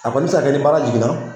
A kɔni mi se ka kɛ ni baara jiginna